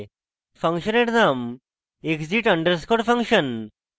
ফাংশনের name exit underscore function